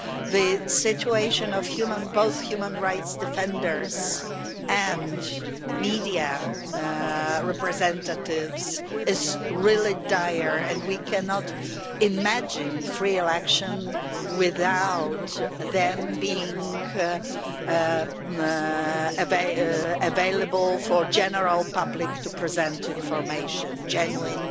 The situation of both human rights defenders and media representatives is really dire and we cannot imagine free elections without them being available for the general public, to present information, genuine,